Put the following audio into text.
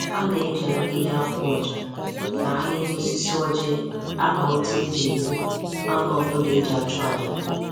A na-eji ahịhịa akwụ ọja na ahịhịa osisi ọjị akpa ute e ji ebu anụ ọbụla e ji achụ aja